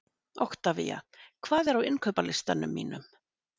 Oktavía, hvað er á innkaupalistanum mínum?